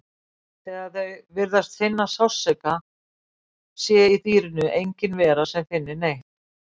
þegar þau virðist finna sársauka sé í dýrinu engin vera sem finni neitt